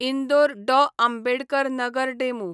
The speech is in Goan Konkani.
इंदोर डॉ. आंबेडकर नगर डेमू